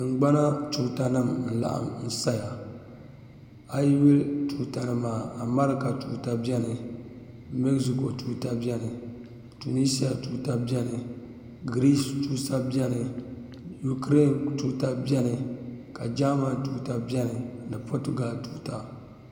Tingbana tuuta nim n laɣim saya a yi yuli tuuta nim maa America tuuta biɛni Mexico tuuta biɛni Tunisia tuuta biɛni Greece tuuta biɛni ukaraine tuutabiɛni ka jaaman tuuta biɛni ni potugal tuuta